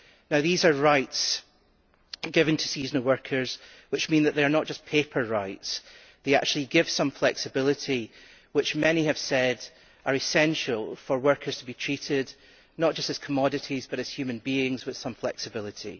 Now, these are rights given to seasonal workers which mean that they are not just paper rights, but actually give some flexibility which many have said is essential for workers to be treated not just as commodities but as human beings with some flexibility.